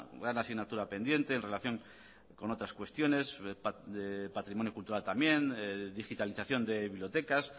gran asignatura pendiente en relación con otras cuestiones de patrimonio cultural también digitalización de bibliotecas